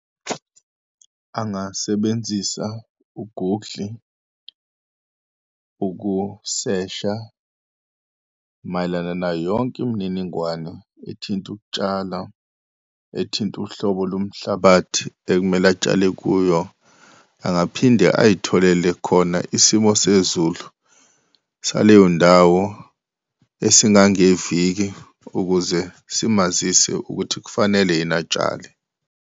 Angasebenzisa u-Google ukusesha mayelana nayo yonke imininingwano ethinta ukutshala, ethinta uhlobo lomhlabathi ekumele atshale kuyo, angaphinde ayitholele khona isimo sezulu saleyondawo esingangeviki, ukuze simazise ukuthi kufanele yini atshale.